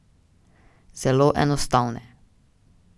Zelo enostavne.